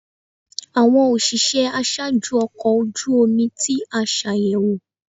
Awọn oṣiṣẹ aṣaaju ọkọ oju omi ti a ṣayẹwo